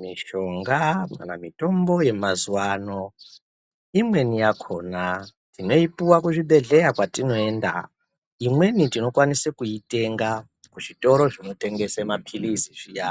Mushonga kana mitombo yemazuwa ano imweni yakona tinoipuwa kuzvibhehlera kwatinoenda imweni tinokwanisa kuitenga kuzvitoro zvinotengesa mapirizi zviya